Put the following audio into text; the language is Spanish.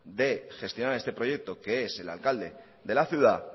de gestionar este proyecto que es el alcalde de la ciudad